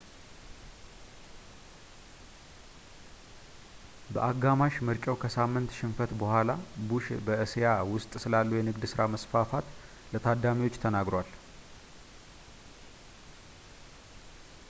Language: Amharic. በአጋማሽ ምርጫው ከሳምንት ሽንፈት ቡሃላ ቡሽ በእስያ ውስጥ ስላለው የንግድ ሥራ መስፋፋት ለታዳሚዎች ተናግሯል